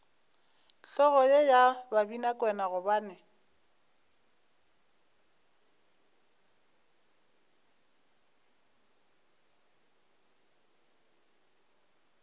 hlogo ye ya babinakwena gobane